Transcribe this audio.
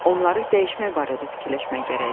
Onları dəyişmək barədə fikirləşmək gərəkdir.